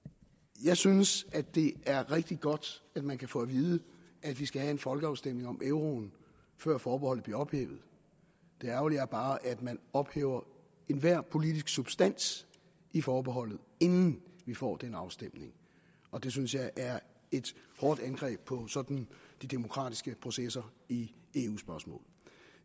jeg synes det er rigtig godt at man kan få at vide at vi skal have en folkeafstemning om euroen før forbeholdet bliver ophævet det ærgerlige er bare at man ophæver enhver politisk substans i forbeholdet inden vi får den afstemning og det synes jeg er et hårdt angreb på sådan de demokratiske processer i eu spørgsmål